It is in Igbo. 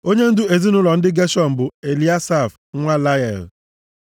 Onyendu ezinaụlọ ndị Geshọn bụ Eliasaf nwa Lael.